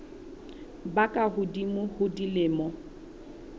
ba ka hodimo ho dilemo